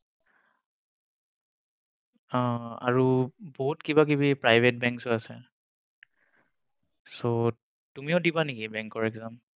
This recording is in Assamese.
অহ আৰু বহুত কিবাকিবি private banks ও আছে। So তুমিও দিবা নেকি বেংকৰ exam?